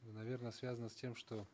наверно связано с тем что